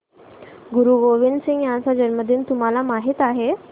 गुरु गोविंद सिंह यांचा जन्मदिन तुम्हाला माहित आहे